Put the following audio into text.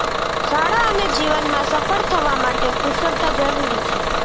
શાળા અને જીવનમાં સફળ થવા માટે કુશળતા જરૂરી છે